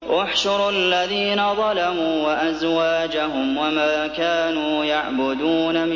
۞ احْشُرُوا الَّذِينَ ظَلَمُوا وَأَزْوَاجَهُمْ وَمَا كَانُوا يَعْبُدُونَ